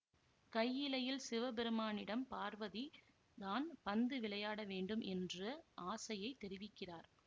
கையிலையில் சிவபெருமானிடம் பார்வதி தான் பந்து விளையாட வேண்டும் என்ற ஆசையைத் தெரிவிக்கிறார்